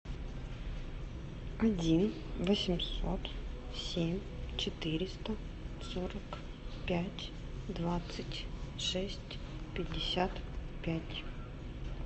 один восемьсот семь четыреста сорок пять двадцать шесть пятьдесят пять